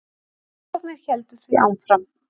Rannsóknir héldu því áfram.